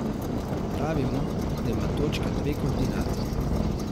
Pravimo, da ima točka dve koordinati.